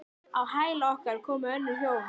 Á hæla okkar komu önnur hjón.